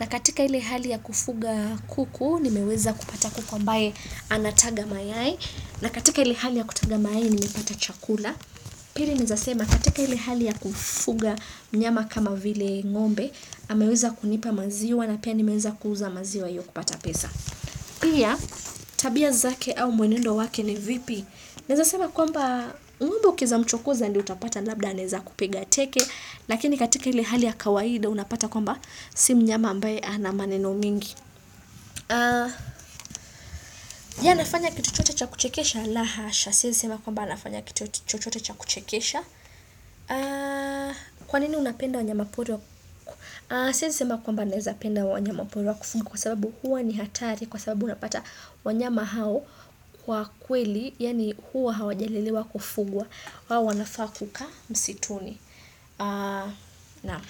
Na katika ile hali ya kufuga kuku nimeweza kupata kuku ambaye anataga mayai. Na katika ili hali ya kutaga mayai nimepata chakula. Pili naezasema, katika hili hali ya kufuga mnyama kama vile ngombe ameweza kunipa maziwa na pia nimeweza kuuza maziwa hiyo kupata pesa Pia tabia zake au mwenendo wake ni vipi Naezasema kwamba ngombe ukiweza mchokoza ndio utapata labda anaeza kupiga teke Lakini katika ile hali ya kawaida unapata kwamba si mnyama ambaye ana maneno mingi ya nafanya kitu chochote cha kuchekesha? La hasha, Siwezi sema kwamba nafanya kito chochote cha kuchekesha. Kwa nini unapenda wanyama pori? Siwezi sema kwamba naeza penda wanyama pori wa kufugwa kwa sababu huwa ni hatari kwa sababu unapata wanyama hao kwa kweli yaani huwa hawajalelewa kufugwa hao wanafaa kukaa msituni na.